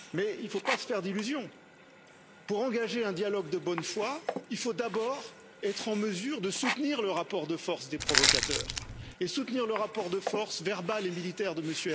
Il ne faut cependant pas se faire d'illusions pour engager un dialogue de bonne foi, il faut d'abord être en mesure de soutenir le rapport de force des provocateurs et soutenir le rapport de force verbal et militaire de M.